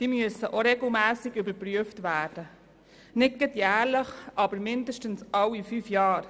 Auch diese müssen regelmässig überprüft werden, nicht gerade jährlich, aber zumindest alle fünf Jahre.